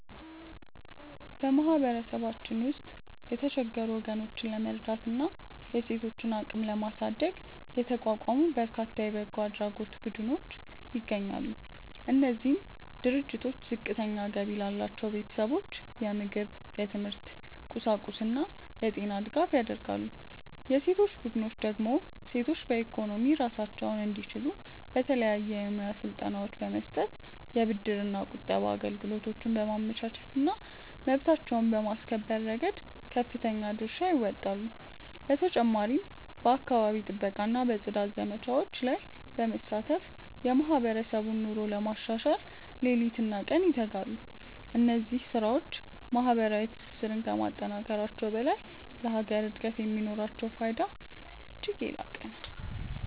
በማህበረሰባችን ውስጥ የተቸገሩ ወገኖችን ለመርዳትና የሴቶችን አቅም ለማሳደግ የተቋቋሙ በርካታ የበጎ አድራጎት ቡድኖች ይገኛሉ። እነዚህ ድርጅቶች ዝቅተኛ ገቢ ላላቸው ቤተሰቦች የምግብ፣ የትምህርት ቁሳቁስና የጤና ድጋፍ ያደርጋሉ። የሴቶች ቡድኖች ደግሞ ሴቶች በኢኮኖሚ ራሳቸውን እንዲችሉ የተለያዩ የሙያ ስልጠናዎችን በመስጠት፣ የብድርና ቁጠባ አገልግሎቶችን በማመቻቸትና መብታቸውን በማስከበር ረገድ ከፍተኛ ድርሻ ይወጣሉ። በተጨማሪም በአካባቢ ጥበቃና በጽዳት ዘመቻዎች ላይ በመሳተፍ የማህበረሰቡን ኑሮ ለማሻሻል ሌሊትና ቀን ይተጋሉ። እነዚህ ስራዎች ማህበራዊ ትስስርን ከማጠናከራቸውም በላይ ለሀገር እድገት የሚኖራቸው ፋይዳ እጅግ የላቀ ነው።